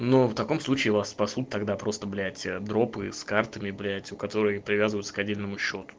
ну в таком случае вас спасут тогда просто блять дропы с картами блять у которые привязываются к одному